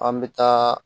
An bɛ taa